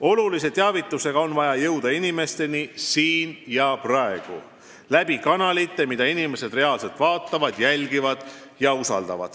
Oluliste teavitustega on vaja inimesteni jõuda siin ja praegu – nende kanalite abil, mida inimesed reaalselt vaatavad, jälgivad ja usaldavad.